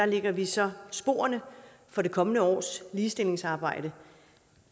lægger vi så sporene for det kommende års ligestillingsarbejde